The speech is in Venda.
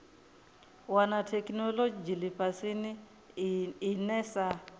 wana theikinolodzhi lifhasini ine sa